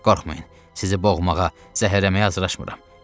Qorxmayın, sizi boğmağa, zəhərləməyə hazırlaşmıram.